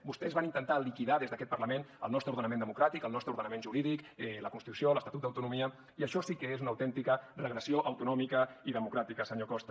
vostès van intentar liquidar des d’aquest parlament el nostre ordenament democràtic el nostre ordenament jurídic la constitució l’estatut d’autonomia i això sí que és una autèntica regressió autonòmica i democràtica senyor costa